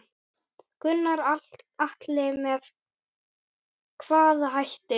Gunnar Atli: Með hvaða hætti?